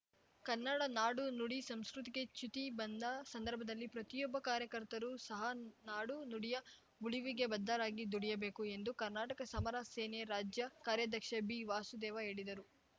ಕನ್ನಡ ನಾಡು ನುಡಿ ಸಂಸ್ಕೃತಿಗೆ ಚ್ಯುತಿ ಬಂದ ಸಂದರ್ಭದಲ್ಲಿ ಪ್ರತಿಯೊಬ್ಬ ಕಾರ್ಯಕರ್ತರೂ ಸಹಾ ನಾಡು ನುಡಿಯ ಉಳಿವಿಗೆ ಬದ್ಧರಾಗಿ ದುಡಿಯಬೇಕು ಎಂದು ಕರ್ನಾಟಕ ಸಮರ ಸೇನೆ ರಾಜ್ಯ ಕಾರ್ಯಾಧ್ಯಕ್ಷ ಬಿವಾಸುದೇವ ಹೇಳಿದರು